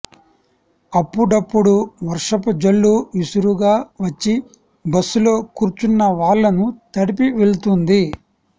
అప్పుడప్పుడు వర్షపు జల్లు విసురుగా వచ్చి బస్ లో కూర్చున్నవాళ్ళను తడిపి వెళ్తుంది